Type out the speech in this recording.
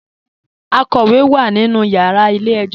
Àkọ́wé wá nínú yàrà ilẹ̀-ẹ̀jọ̀.